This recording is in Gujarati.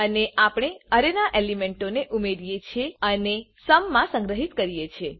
અહી આપણે અરેના એલીમેન્ટોને ઉમેરીએ છીએ અને સુમ સમ માં સંગ્રહિત કરીએ છે